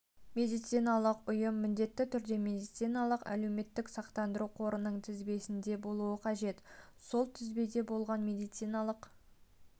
медициналық ұйым міндетті түрде медициналық әлеуметтік сақтандыру қорының тізбесінде болуы қажет сол тізбеде болған медициналық